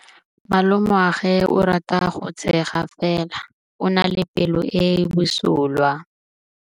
Malomagwe o rata go tshega fela o na le pelo e e bosula.